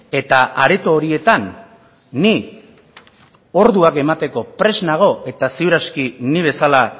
eta areto horietan ni orduak emateko prest nago eta ziur aski ni bezala